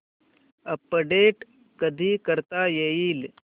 update कधी करता येईल